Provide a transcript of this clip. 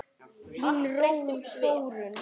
Þín Þórunn.